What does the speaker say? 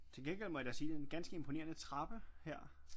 Til gengæld må jeg da sige det en ganske imponerende trappe her